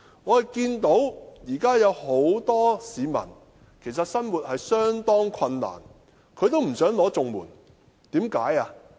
我看到現時有很多市民即使生活得相當困難，但也不想領取綜援，為甚麼呢？